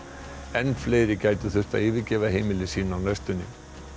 enn fleiri gætu þurft að yfirgefa heimili sín á næstunni